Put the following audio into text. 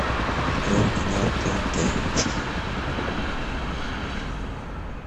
открой канал тнт